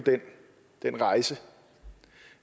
den rejse